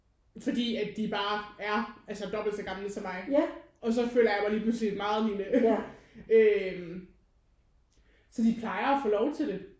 Fordi at de bare er altså dobbelt så gamle som mig og så føler jeg mig pludselig meget lille øh så de plejer at få lov til det